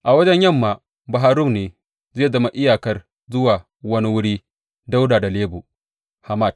A wajen yamma, Bahar Rum ne zai zama iyakar zuwa wani wuri ɗaura da Lebo Hamat.